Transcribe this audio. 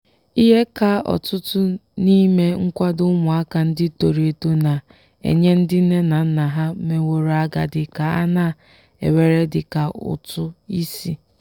ihe ka ọtụtụ n'ime nkwado ụmụaka ndị toro eto na-enye ndị nne na nna ha meworo agadi ka a na-ewere dị ka ụtụ isi